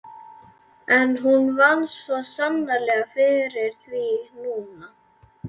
En hún vann svo sannarlega fyrir því núna.